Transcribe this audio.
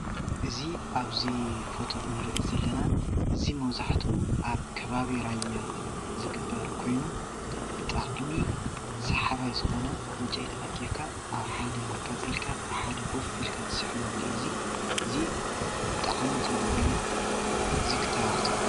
እዚ ኣብዚ ፎቶ እነሪኦ ዘለና እዚ መብዛሕትኡ ኣብ ከባቢ ራያ ዝግበር ኮይኑ ብጣዕሚ ሳሓባይ ዝኮነ ዕንጨይቲ ኣኪብካ ኣብ ሓደ ኣቃፂልካ ብሓደ ኮፍ ኢልካ እትስሕነሉ እዩ እዚ፡፡ እዚ ብጣዕሚ ፅቡቅ እዩ እዚ ክተባባዕ ዘለዎ እዩ፡፡